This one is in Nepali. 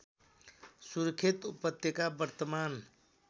सुर्खेत उपत्यका वर्तमान